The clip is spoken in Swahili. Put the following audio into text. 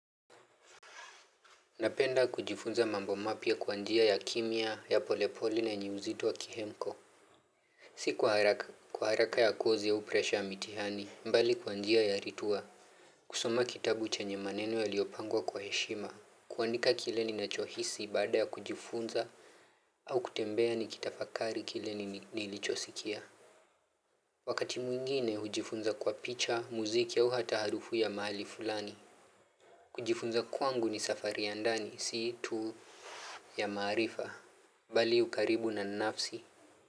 Napenda kujifunza mambo mapya kwa njia ya kimya, ya pole pole na yenye uzito wa kihemko. Si kwa haraka ya kozi au presha ya mitihani, mbali kwa njia ya ritua. Kusoma kitabu chenye maneno yaliopangwa kwa heshima. Kuandika kile ninacho hisi baada ya kujifunza au kutembea nikitafakari kile nilichosikia. Wakati mwingine hujifunza kwa picha, muziki au hata harufu ya mahali fulani. Kujifunza kwangu ni safari ya ndani, si tuu ya maarifa. Bali ukaribu na nafsi.